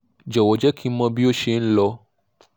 jọ̀wọ́ jẹ́ kí n mọ̀ bí ó ṣe n lọ